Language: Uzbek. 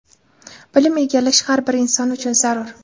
Bilim egallash har bir inson uchun zarur.